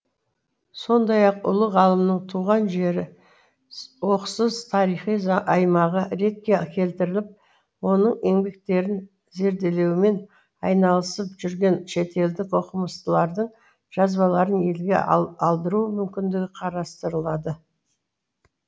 сондай ақ ұлы ғалымның туған жері оқсыз тарихи аймағы ретке келтіріліп оның еңбектерін зерделеумен айналысып жүрген шетелдік оқымыстылардың жазбаларын елге алдыру мүмкіндігі қарастырылады